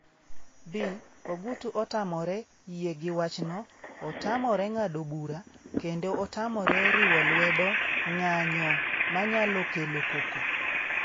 (B) Ogutu tamore yie gi wachno, otamore ng'ado bura, kendo otamore riwo lwedo ng'anyo manyalo kelo koko.